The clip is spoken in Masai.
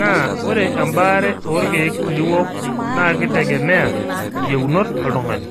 naa ore embaare orkee liwok naa keitegemea iyieunot oltung'ani.